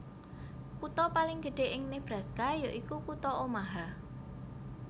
Kutha paling gedhé ing Nebraska ya iku kutha Omaha